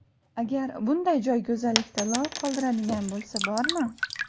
Agar bunday joy go‘zallikda lol qoldiradigan bo‘lsa bormi?